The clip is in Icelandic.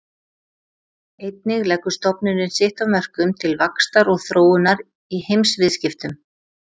Einnig leggur stofnunin sitt af mörkum til vaxtar og þróunar í heimsviðskiptum.